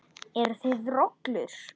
Eruð þið rollur?